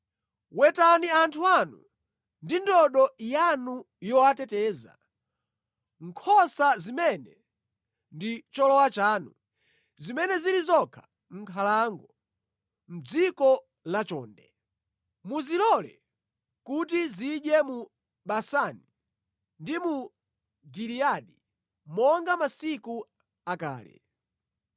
Wetani anthu anu ndi ndodo yanu yowateteza, nkhosa zimene ndi cholowa chanu, zimene zili zokha mʼnkhalango, mʼdziko la chonde. Muzilole kuti zidye mu Basani ndi mu Giliyadi monga masiku akale.